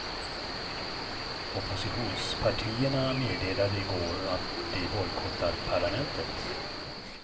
Oppositionspartierna meddelade i går att de bojkottar parlamentet.